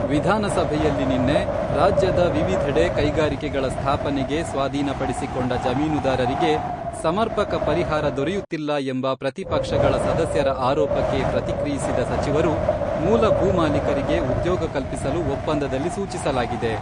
ವಿಧಾನ ಸಭೆಯಲ್ಲಿ ನಿನ್ನೆ ರಾಜ್ಯದ ವಿವಿಧೆಡೆ ಕೈಗಾರಿಕೆಗಳ ಸ್ಥಾಪನೆಗೆ ಸ್ವಾಧೀನಪಡಿಸಿಕೊಂಡ ಜಮೀನುದಾರರಿಗೆ ಸಮರ್ಪಕ ಪರಿಹಾರ ದೊರೆಯುತ್ತಿಲ್ಲ ಎಂಬ ಪ್ರತಿಪಕ್ಷಗಳ ಸದಸ್ಯರ ಆರೋಪಕ್ಕೆ ಪ್ರತಿಕ್ರಿಯಿಸಿದ ಸಚಿವರು, ಮೂಲ ಭೂಮಾಲೀಕರಿಗೆ ಉದ್ಯೋಗ ಕಲ್ಪಿಸಲು ಒಪ್ಪಂದದಲ್ಲಿ ಸೂಚಿಸಲಾಗಿದೆ.